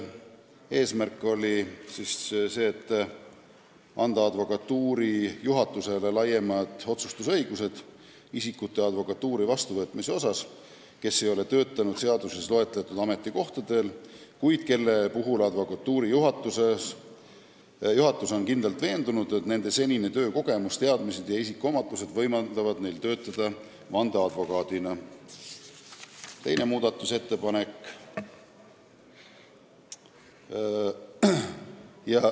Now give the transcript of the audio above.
Eesmärk on anda advokatuuri juhatusele suurem õigus otsustada selliste isikute advokatuuri vastuvõtmise üle, kes ei ole töötanud seaduses loetletud ametikohtadel, kuid kelle puhul advokatuuri juhatus on kindlalt veendunud, et nende töökogemus, teadmised ja isikuomadused võimaldavad neil töötada vandeadvokaadina.